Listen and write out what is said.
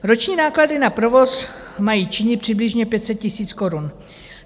Roční náklady na provoz mají činit přibližně 500 000 korun.